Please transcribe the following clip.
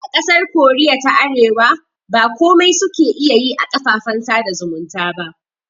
A ƙasar koriya ta arewa ba komai suke iya yi a kafafen sada zumunta ba